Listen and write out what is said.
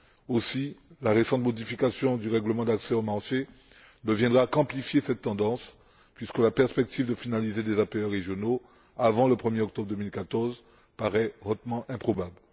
Aussi, la récente modification du règlement d'accès au marché ne viendra qu'amplifier cette tendance puisque la perspective de finaliser des APE régionaux avant le 1er octobre 2014 paraît hautement improbable.